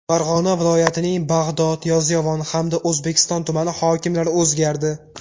Farg‘ona viloyatining Bag‘dod, Yozyovon hamda O‘zbekiston tumani hokimlari o‘zgardi.